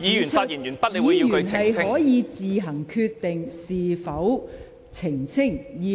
議員可以自行決定是否作出澄清。